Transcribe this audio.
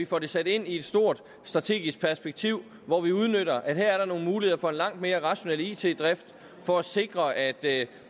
får det sat ind i et stort strategisk perspektiv hvor vi udnytter at der her er nogle muligheder for en langt mere rationel it drift for at sikre at